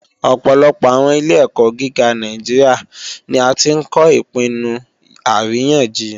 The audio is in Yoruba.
Ọ̀pọ̀lọpọ̀ àwọn ilé-ẹ̀kọ́ gíga Nàìjíríà ni a tí ń kọ́ Ìpinnu Àríyànjiyàn